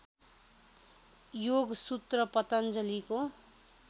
Yogasutra पतञ्जलिको